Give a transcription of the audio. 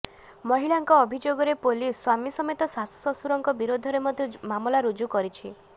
ମହିଳାଙ୍କ ଅଭିଯୋଗରେ ପୋଲିସ୍ ସ୍ବାମୀ ସମେତ ଶାଶୁ ଶ୍ବଶୁରଙ୍କ ବିରୁଦ୍ଧରେ ମଧ୍ୟ ମାମଲା ରୁଜୁ କରିଛି